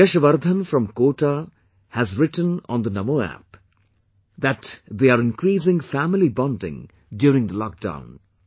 Yashvardhan from Kota have written on the Namo app, that they are increasing family bonding during the lock down